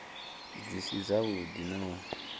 dzi si dzavhuḓi na u